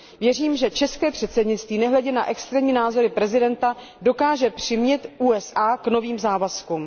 Věřím, že české předsednictví nehledě na extrémní názory prezidenta dokáže přimět USA k novým závazkům.